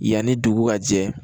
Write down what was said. Yanni dugu ka jɛ